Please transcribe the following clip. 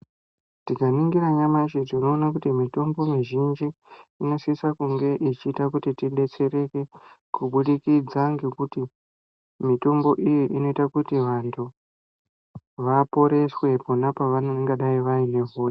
Tikaningira nyamashi tinoona kuti mitombo mizhinji inosisakunge ichiita kuti tibetsereke kubudikidza ngekuti mitombo iyi inoita kuti vantu vaporeswe pona pavangadai vaine...